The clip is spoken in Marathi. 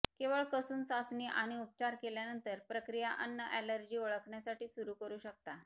केवळ कसून चाचणी आणि उपचार केल्यानंतर प्रक्रिया अन्न ऍलर्जी ओळखण्यासाठी सुरू करू शकता